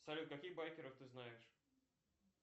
салют каких байкеров ты знаешь